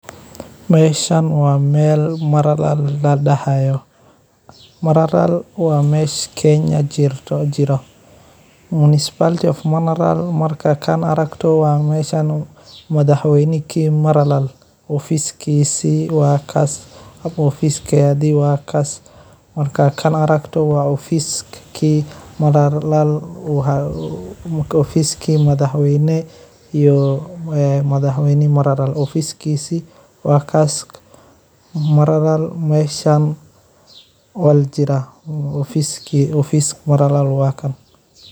Meshan waa meel maralal ladahayo maralal waa mesha kenya jirto municipal maralal marka aragto waa mesha madhax weyni ki maralal u si offiski madhax weyne.